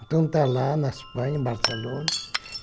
Então está lá na Espanha, em Barcelona.